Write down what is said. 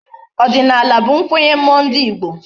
Odinala bu nkwenye mmuo ndi igbo